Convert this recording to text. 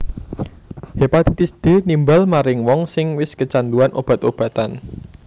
Hepatitis D nimbal maring wong sing wis kecanduan obat obatan